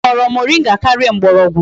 Ha ahoro moringa karia mgborogwu?